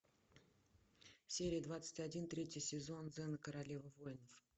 серия двадцать один третий сезон зена королева воинов